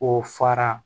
K'o fara